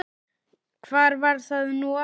hvar var það nú aftur?